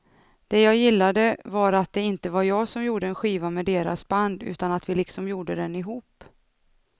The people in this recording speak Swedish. Det jag gillade var att det inte var jag som gjorde en skiva med deras band utan att vi liksom gjorde den ihop.